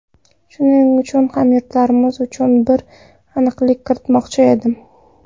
Shuning uchun hamyurtlarimiz uchun bir aniqlik kiritmoqchi edim.